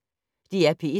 DR P1